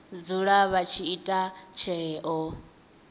dzula vha tshi ita tsheo